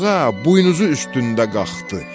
Buğa buynuzu üstündə qalxdı.